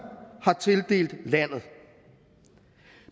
har tildelt landet